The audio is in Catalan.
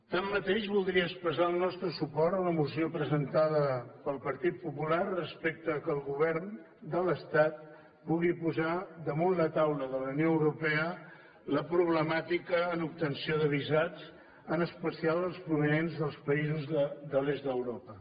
tanmateix voldria expressar el nostre suport a la moció presentada pel partit popular respecte al fet que el govern de l’estat pugui posar damunt la taula de la unió europea la problemàtica en obtenció de visats en especial els provinents dels països de l’est d’europa